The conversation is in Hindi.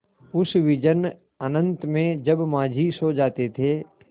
उस विजन अनंत में जब माँझी सो जाते थे